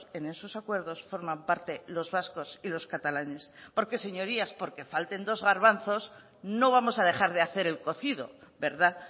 en esos acuerdos forman parte los vascos y los catalanes porque señorías porque falten dos garbanzos no vamos a dejar de hacer el cocido verdad